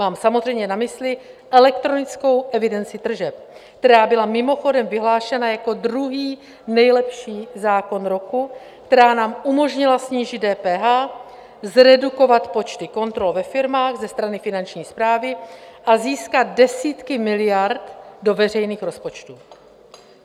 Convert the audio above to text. Mám samozřejmě na mysli elektronickou evidenci tržeb, která byla mimochodem vyhlášena jako druhý nejlepší zákon roku, která nám umožnila snížit DPH, zredukovat počty kontrol ve firmách ze strany Finanční správy a získat desítky miliard do veřejných rozpočtů.